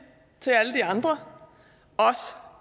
til alle de andre os